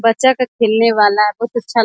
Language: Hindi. बच्चा का खेलने का वाला बहुत अच्छा --